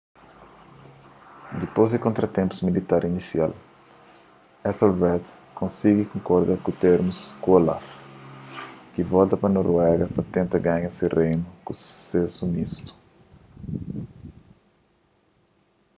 dipôs di kontratenpus militar inisial ethelred konsigi konkorda ku termus ku olaf ki volta pa noruega pa tenta ganha se reinu ku susésu mistu